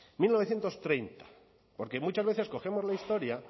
mil novecientos treinta porque muchas veces cogemos la historia